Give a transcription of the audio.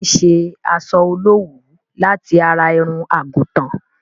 A má n ṣe asọ olówuú láti ara irun àgùtàn.